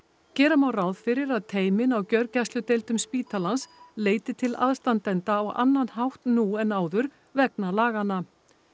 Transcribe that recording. gera má ráð fyrir að teymin á gjörgæsludeildum spítalans leiti til aðstandenda á annan hátt nú en áður vegna laganna